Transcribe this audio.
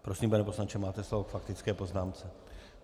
Prosím, pane poslanče, máte slovo k faktické poznámce.